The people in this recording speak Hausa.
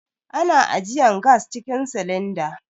Ana ajiyan gas cikin silinda.